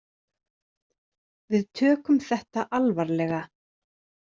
Við tökum þetta alvarlega.